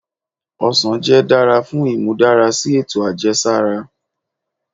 òsàn jẹ dara fun imudarasi eto ajẹsara.